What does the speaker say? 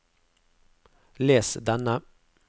les denne